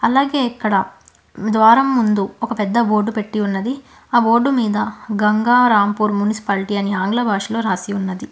అలాగే ఇక్కడ ద్వారం ముందు ఒక పెద్ద బోర్డు పెట్టి ఉన్నది ఆ బోర్డు మీద గంగారాంపూర్ మున్సిపాలిటీ అని ఆంగ్ల భాషలో రాసి ఉన్నది.